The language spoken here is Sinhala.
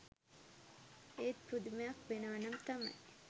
ඒත් පුදුමයක් වෙනවනම් තමයි